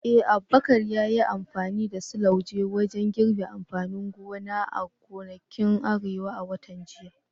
Eh, Abubakar ya yi amfani da slauje wajen girbin amfanin gona a gonakin Arewa a watan jiya.